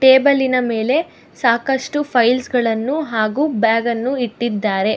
ಟೇಬಲಿನ ಮೇಲೆ ಸಾಕಷ್ಟು ಫೈಲ್ಸ್ ಗಳನ್ನು ಹಾಗು ಬ್ಯಾಗನ್ನು ಇಟ್ಟಿದ್ದಾರೆ.